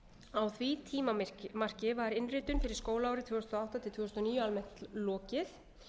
á því tímamarki var innritun fyrir skólaárið tvö þúsund og átta til tvö þúsund og níu almennt lokið